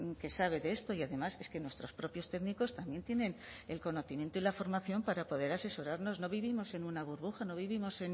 que sabe de esto y además es que nuestros propios técnicos también tienen el conocimiento y la formación para poder asesorarnos no vivimos en una burbuja no vivimos